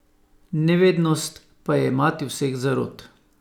Nevednost pa je mati vseh zarot.